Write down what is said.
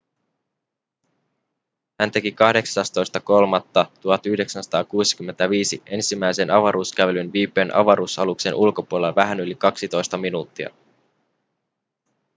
hän teki 18.3.1965 ensimmäisen avaruuskävelyn viipyen avaruusaluksen ulkopuolella vähän yli kaksitoista minuuttia